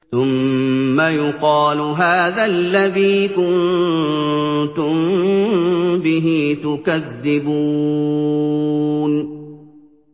ثُمَّ يُقَالُ هَٰذَا الَّذِي كُنتُم بِهِ تُكَذِّبُونَ